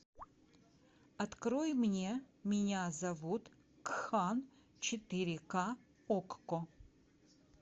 открой мне меня зовут кхан четыре ка окко